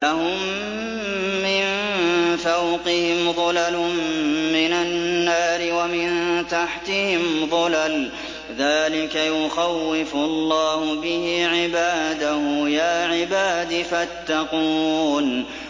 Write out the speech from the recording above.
لَهُم مِّن فَوْقِهِمْ ظُلَلٌ مِّنَ النَّارِ وَمِن تَحْتِهِمْ ظُلَلٌ ۚ ذَٰلِكَ يُخَوِّفُ اللَّهُ بِهِ عِبَادَهُ ۚ يَا عِبَادِ فَاتَّقُونِ